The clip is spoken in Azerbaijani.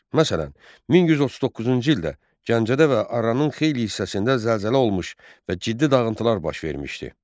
Məsələn, 1139-cu ildə Gəncədə və Arranın xeyli hissəsində zəlzələ olmuş və ciddi dağıntılar baş vermişdi.